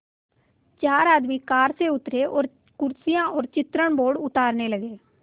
चार आदमी कार से उतरे और कुर्सियाँ और चित्रण बोर्ड उतारने लगे